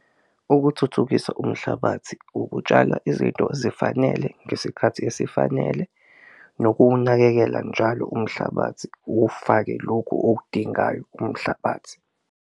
Ukuthuthukisa umhlabathi, ukutshala izinto ezifanele ngesikhathi esifanele nokuwunakekela njalo umhlabathi uwufake lokhu okudingayo umhlabathi.